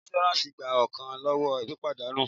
Iṣuransi gba ọkan lọwọ́ pípadà nù.